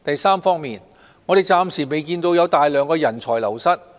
三我們暫時未有看到大量的人才流失。